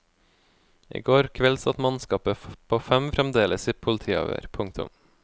I går kveld satt mannskapet på fem fremdeles i politiavhør. punktum